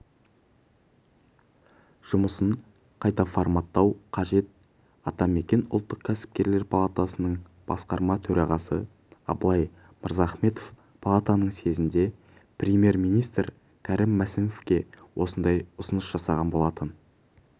жұмысын қайта форматтау қажет атамекен ұлттық кәсіпкерлер палатасының басқарма төрағасы абылай мырзахметов палатаның съезінде премьер-министрі кәрім мәсімовке осындай ұсыныс жасаған болатын